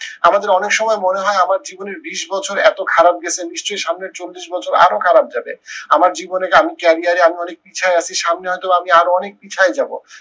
আমাদের অনেক সময় মনে হয় আমার জীবনের বিশ বছর এত খারাপ গেছে নিশ্চই সামনের চল্লিশ বছর আরো খারাপ যাবে। আমার জীবনে আমার career এ আমি অনেক পিছায় আছি সামনে হয়তো বা আমি আরো অনেক পিছায় যাবো।